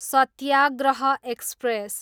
Satyagraha express